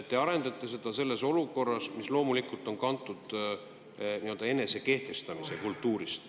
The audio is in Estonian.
Te arendate seda selles olukorras, mis loomulikult on kantud enesekehtestamise kultuurist.